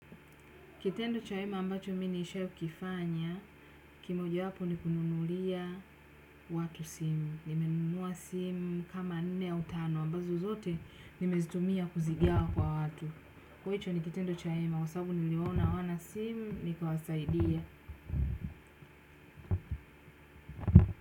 Kitendo cha wema ambacho mimi nisha kifanya, kimoja wapo ni kununulia watu simu. Nimenua simu kama nne au tano, ambazo zote nimezitumia kuzigawa kwa watu. Kwa hicho ni kitendo cha wma, kwa sababu niliona hawana simu, nikawasaidia.